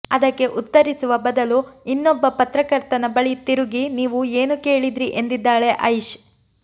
ಅದಕ್ಕೆ ಉತ್ತರಿಸುವ ಬದಲು ಇನ್ನೊಬ್ಬ ಪತ್ರಕರ್ತನ ಬಳಿ ತಿರುಗಿ ನೀವು ಏನು ಕೇಳಿದ್ರಿ ಎಂದಿದ್ದಾಳೆ ಐಶ್